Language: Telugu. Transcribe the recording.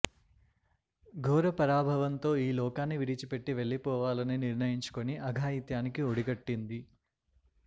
ఘోర పరాభవంతో ఈ లోకాన్ని విడిచిపెట్టి వెళ్లిపోవాలని నిర్ణయించుకుని అఘాయిత్యానికి ఒడిగట్టింది